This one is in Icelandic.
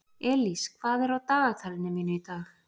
Elís, hvað er á dagatalinu mínu í dag?